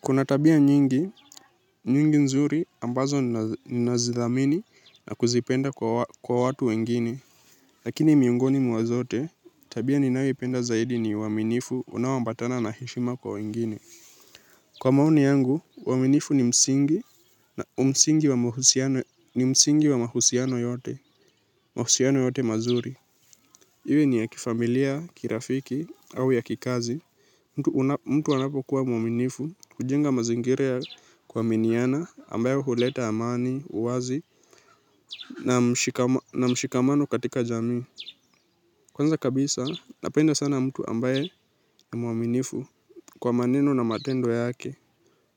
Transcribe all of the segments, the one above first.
Kuna tabia nyingi, nyingi nzuri ambazo ninazidhamini na kuzipenda kwa watu wengine. Lakini miongoni mwazote, tabia ninaiwe penda zaidi ni waminifu unawombatana na heshima kwa wengine. Kwa maoni yangu, waminifu ni msingi na umsingi wa mahusiano yote mazuri. Iwe ni ya kifamilia kirafiki au ya kikazi mtu. Mtu wanapo kuwa muaminifu hujenga mazingira kwa miniana ambayo huleta amani, uwazi na mshikamano katika jami. Kwanza kabisa napenda sana mtu ambaye ni muaminifu kwa maneno na matendo yake.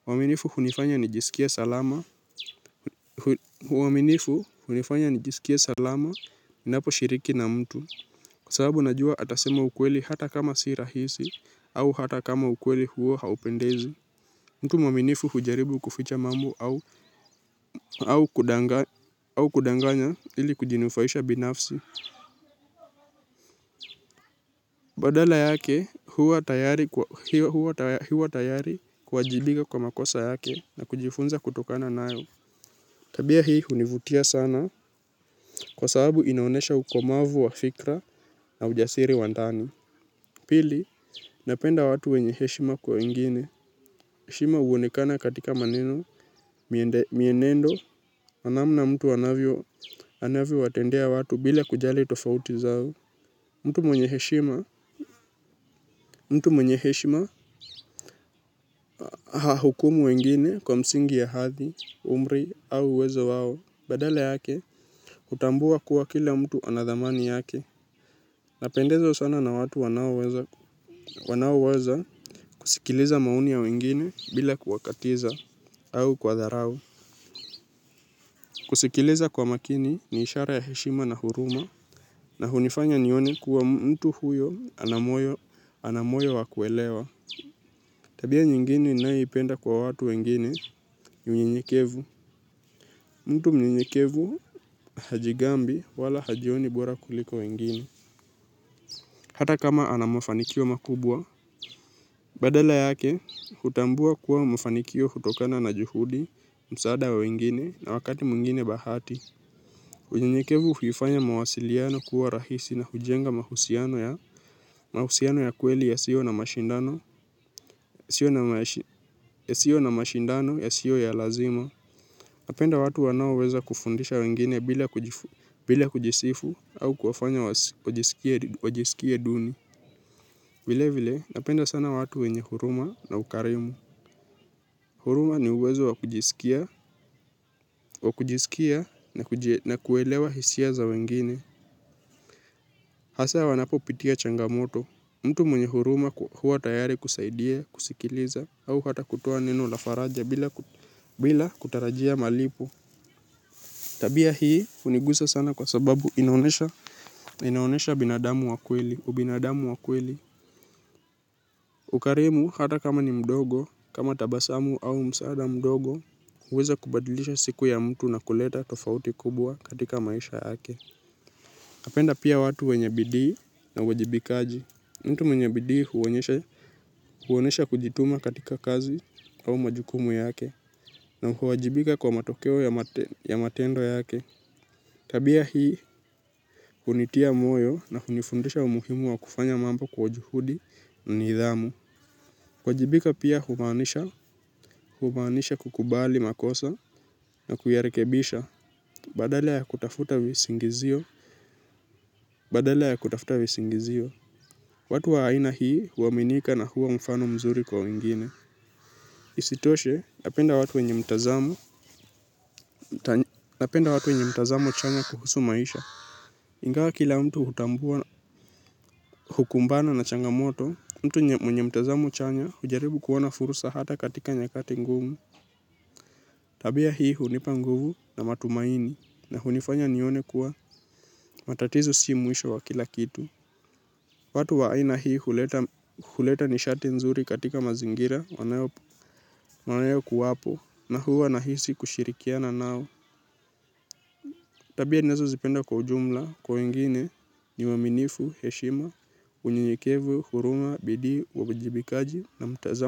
Muaminifu hunifanya nijisikie salama. Uaminifu hunifanya ni jisikie salama minapo shiriki na mtu. Kwa sababu najua atasema ukweli hata kama si rahisi au hata kama ukweli huo haupendizi. Mtu maminifu hujaribu kuficha mambo au kudanganya ili kujinufaisha binafsi. Badala yake huwa tayari kuajibiga kwa makosa yake na kujifunza kutokana nayo. Tabia hii hunivutia sana kwa sababu inonesha ukomavu wa fikra na ujasiri wa ntani. Pili, napenda watu wenye heshima kwa wengine. Heshima uonekana katika maneno, mienendo, na namna mtu anavyo watendea watu bila kujali tofauti zao. Mtu mwenyeheshima, mtu mwenyeheshima, haa hukumu wengine kwa msingi ya hathi, umri au uwezo wao. Badala yake, utambua kuwa kila mtu anadhamani yake. Napendezwa sana na watu wanauweza kusikiliza maoni ya wengine bila kuwakatiza. Au kwa tharau. Kusikiliza kwa makini ni ishara ya heshima na huruma na hunifanya nione kuwa mtu huyo anamoyo wakuelewa. Tabia nyingine naiipenda kwa watu wengine unye nyekevu. Mtu mnyenyekevu hajigambi wala hajioni bora kuliko wengine. Hata kama anamafanikio makubwa, badala yake, hutambua kuwa mafanikio hutokana na juhudi, msaada wengine na wakati mungine bahati. Unyenyekevu huifanya mawasiliano kuwa rahisi na hujenga mahusiano ya kweli ya sio na mashindano ya sio ya lazima. Napenda watu wanao weza kufundisha wengine bila kujisifu au kuwafanya wajisikia duni. Vile vile napenda sana watu wenye huruma na ukarimu. Huruma ni uwezo wakujisikia na kuwelewa hisia za wengine. Hasa wanapo pitia changamoto, mtu mwenye huruma huwa tayari kusaidia, kusikiliza, au hata kutoa neno lafaraja bila kutarajia malipo. Tabia hii unigusa sana kwa sababu inaonesha binadamu wakweli, ubinadamu wakweli. Ukarimu hata kama ni mdogo, kama tabasamu au msaada mdogo, uweza kubadilisha siku ya mtu na kuleta tofauti kubwa katika maisha yake. Napenda pia watu wenyebidi na wajibikaji. Mtu mwenyebidi huwonesha kujituma katika kazi au majukumu yake na huwajibika kwa matokeo ya matendo yake. Tabia hii, kunitia moyo na kunifundisha umuhimu wa kufanya mambo kwa juhudi ni idhamu. Wajibika pia humanisha kukubali makosa na kuyarekebisha badala ya kutafuta visingizio. Badala ya kutafuta visingizio. Watu wa aina hii huwaminika na huwa mfano mzuri kwa wengine. Isitoshe napenda watu wenye mtazamo chanya kuhusu maisha. Ingawa kila mtu hutambua hukumbana na changamoto, mtu mwenye mtazamo chanya hujaribu kuwona furusa hata katika nyakati ngumu. Tabia hii hunipanguvu na matumaini na hunifanya nione kuwa matatizo si muisho wa kila kitu. Watu wa aina hii huleta nishati nzuri katika mazingira wanayo kuwapo na huu wanahisi kushirikiana nao. Tabia nezo zipenda kwa ujumla, kwa ingine ni waminifu, heshima, unyenyekevu, huruma, bidi, uwabijibikaji na mtazamo.